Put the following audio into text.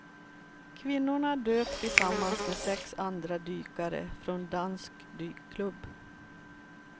Kvinnorna dök tillsammans med sex andra dykare från dansk dykklubb.